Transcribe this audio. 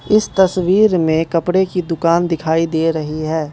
इस तस्वीर में कपड़े की दुकान दिखाई दे रही है।